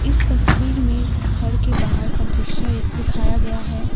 इस तस्वीर में घर के बाहर का दृश्य दिखाया गया है।